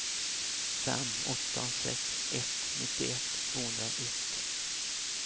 fem åtta sex ett nittioett tvåhundraett